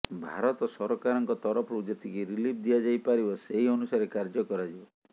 ଭାରତ ସରକାରଙ୍କ ତରଫରୁ ଯେତିକି ରିଲିଫ୍ ଦିଆଯାଇ ପାରିବ ସେହି ଅନୁସାରେ ସାହାଯ୍ୟ କରାଯିବ